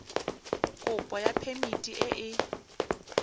kopo ya phemiti e e